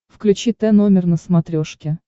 включи т номер на смотрешке